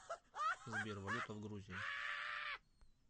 сбер валюта в грузии